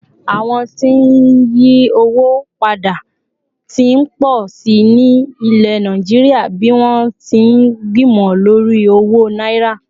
àwọn tí n yi owó pada t'in po sí ní ilẹ̀ Naijiria bi wọn ti n gbimọ lori owó náírà